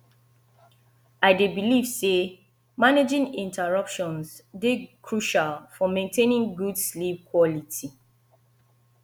i dey believe say managing interruptions dey crucial for maintaining good sleep quality